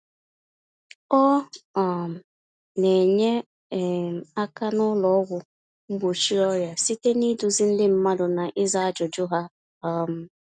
Ọ um na-enye um aka n’ụlọ ọgwụ mgbochi ọrịa site n’ịduzi ndị mmadụ na ịza ajụjụ ha. um